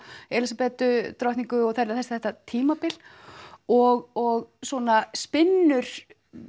Elísabetu drottningu og þetta tímabil og svona spinnur